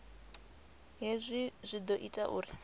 hezwi zwi ḓo ita uri